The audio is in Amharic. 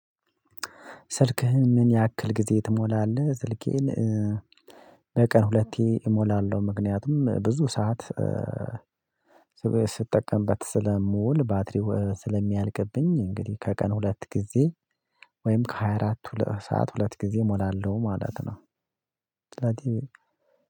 ስልክህን ምን ያክል ጊዜ ትሞላለህ? ስልኬን በቀን ሁለቴ እሞላለሁ። ምክንያቱም ብዙ ሰዓት ስትጠቀምበት ስለምውል ባትሪው ስለሚያልቅብኝ። እንግዲህ ከቀን ሁለት ጊዜ ወይም ከሃያ አራት ሁለት ሰዓት ሁለት ጊዜ እሞላለሁ ማለት ነው። ስለዚህ